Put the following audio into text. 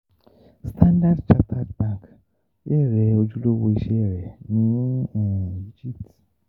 Standard Chartered Bank bẹrẹ ojulowo iṣẹ rẹ ni Egipti